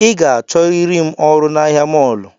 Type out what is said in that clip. I ga-achọriri ọrụ na ahia mọlụ